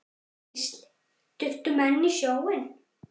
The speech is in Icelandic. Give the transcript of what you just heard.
Gísli: Duttu menn í sjóinn?